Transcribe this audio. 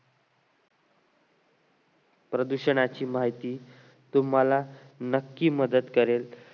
प्रदूषणाची माहिती तुम्हाला नक्की मदत करेल